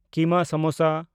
keema samosa